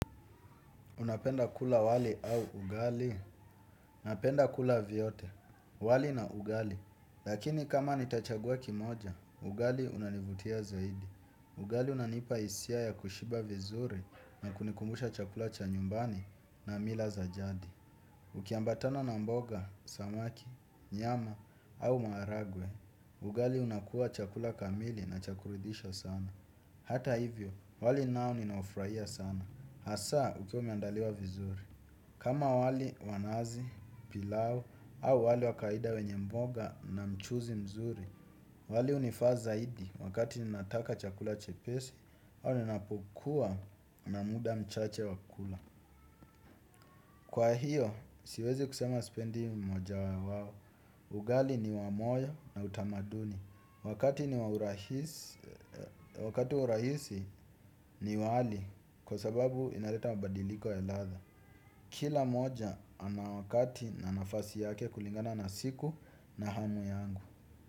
Unapenda kula wali au ugali? Napenda kula vyote, wali na ugali. Lakini kama nitachagua kimoja, ugali unanivutia zaidi. Ugali unanipa hisia ya kushiba vizuri na kunikumbusha chakula cha nyumbani na mila za jadi. Ukiambatana na mboga, samaki, nyama au maharagwe, ugali unakua chakula kamili na cha kuridhisha sana. Hata hivyo, wali nao ninaufurahia sana. Hasa, ukiwa umeandaliwa vizuri. Kama wali wa nazi, pilau au wali wa kawaida wenye mboga na mchuzi mzuri, wali hunifaa zaidi wakati ninataka chakula chepesi, au ninapokuwa na muda mchache wa kula. Kwa hiyo, siwezi kusema sipendi mmoja wao. Ugali ni wa moyo na utamaduni. Wakati wa urahisi ni wali kwa sababu inaleta mabadiliko ya ladha. Kila mmoja ana wakati na nafasi yake kulingana na siku na hamu yangu.